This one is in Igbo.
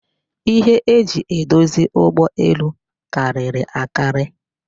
Ihe e ji edozi ụgbọelu karịrị akari